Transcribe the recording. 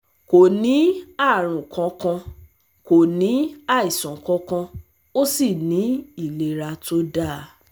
Kò ní àrùn kankan, kò ní àìsàn kankan, ó sì ní ìlera tó dáa